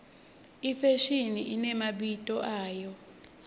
ifashimi imemabito ayo